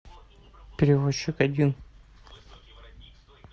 перевозчик один